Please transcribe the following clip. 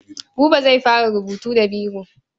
Buba zai fara rubutu da biro.